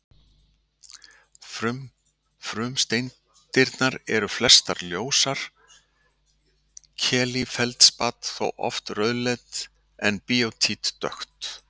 Frumsteindirnar eru flestar ljósar, kalífeldspat þó oft rauðleitt en bíótít dökkt.